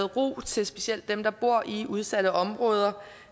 ro til specielt dem der bor i udsatte områder